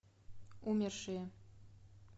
умершие